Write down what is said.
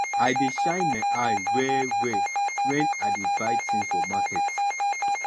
i dey shine my eye wellwell wen i dey buy tins for market